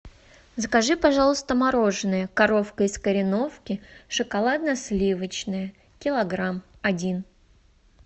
закажи пожалуйста мороженое коровка из кореновки шоколадно сливочное килограмм один